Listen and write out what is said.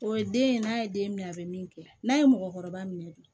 O ye den ye n'a ye den minɛ a bɛ min kɛ n'a ye mɔgɔkɔrɔba minɛ de